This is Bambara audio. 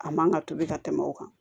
A man ka tobi ka tɛmɛ o kan